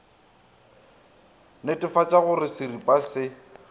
netefatša go re seripa se